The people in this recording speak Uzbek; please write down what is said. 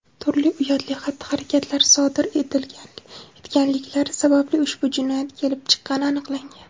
turli uyatli xatti-harakatlar sodir etganliklari sababli ushbu jinoyat kelib chiqqani aniqlangan.